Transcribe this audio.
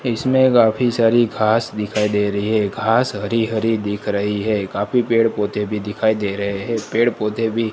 इसमें काफी सारी घास दिखाई दे रही है घास हरी हरी दिख रही है काफी पेड़ पौधे भी दिखाई दे रहे हैं पेड़ पौधे भी--